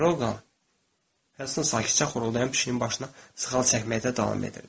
Drouqa, Helston sakitcə xoruldayan pişiyin başına sığal çəkməkdə davam edirdi.